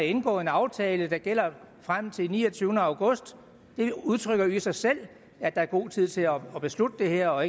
indgået en aftale der gælder frem til niogtyvende august det udtrykker jo i sig selv at der er god tid til at beslutte det her og